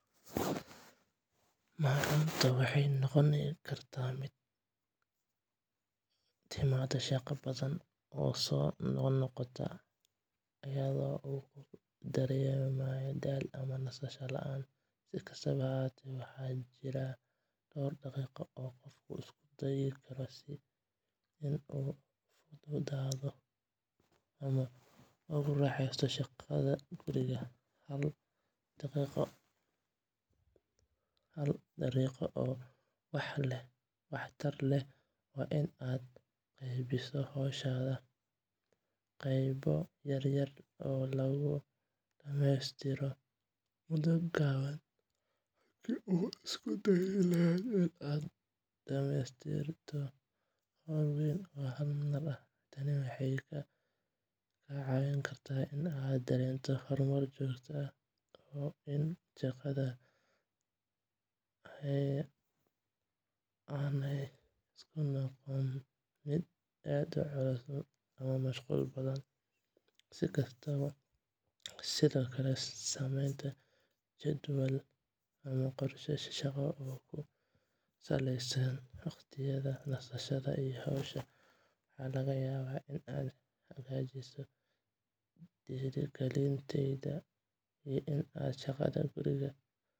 Macuuntu waxay noqon kartaa mid ku timaada shaqo badan oo soo noqnoqota, iyadoo uu qofku dareemo daal ama nasasho la'aan. Si kastaba ha ahaatee, waxa jira dhowr dariiqo oo qofku isku dayi karo si uu ugu fududaado ama ugu raaxaysto shaqada guriga. Hal dariiqo oo waxtar leh waa in aad qaybiso hawshaada qaybo yaryar oo lagu dhammaystiro muddo gaaban, halkii aad isku dayi lahayd inaad dhammaystirto hawl weyn oo hal mar ah. Tani waxay kaa caawin kartaa inaad dareento horumar joogto ah iyo in shaqada aanay ku noqon mid aad u culus ama mashquul badan. Sidoo kale, samaynta jadwal ama qorshe shaqo oo ku saleysan waqtiyada nasashada iyo hawsha waxaa laga yaabaa in ay hagaajiso dhiirigelintaada iyo in aad shaqada guriga ka hesho